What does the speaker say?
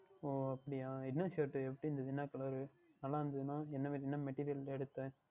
ஓஹோ அப்படியா என்ன Shirt எப்படி இருந்தது என்ன Colour நன்றாக இருந்தது என்றால் என்ன Meterial ல எடுத்தீர்கள்